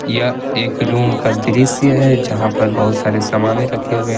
यह एक रूम का दृश्य है जहां पर बहुत सारे सामाने रखे हुए है।